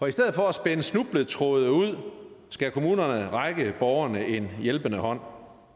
i stedet for at spænde snubletråde ud skal kommunerne række borgerne en hjælpende hånd